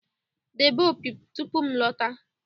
Debe opi tupu m alọta!